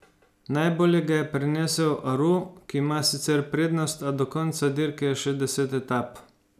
Najbolje ga je prenesel Aru, ki ima sicer prednost, a do konca dirke je še deset etap.